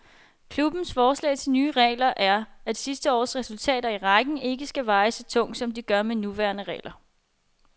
Klubbens forslag til nye regler er, at sidste års resultat i rækken ikke skal veje så tungt, som det gør med de nuværende regler.